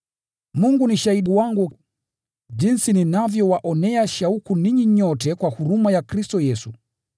Mungu ni shahidi wangu jinsi ninavyowaonea shauku ninyi nyote kwa huruma ya Kristo Yesu.